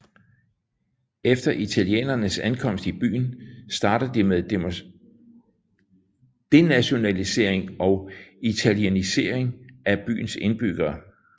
Efter italienernes ankomst i byen starter de med denationalisering og italienisering af byens indbyggere